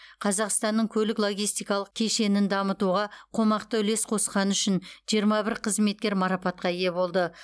қазақстанның көлік логистикалық кешенін дамытуға қомақты үлес қосқаны үшін жиырма бір қызметкер марапатқа ие болды